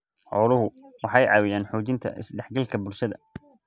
Xooluhu waxay caawiyaan xoojinta is-dhexgalka bulshada.